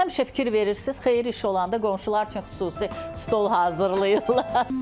Həmişə fikir verirsiz, xeyir iş olanda qonşular üçün xüsusi stol hazırlayırlar.